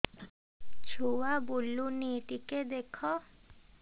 ଛୁଆ ବୁଲୁନି ଟିକେ ଦେଖ